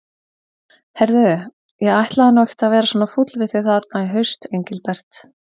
Heyrðu. ég ætlaði nú ekkert að vera svona fúll við þig þarna í haust, Engilbert.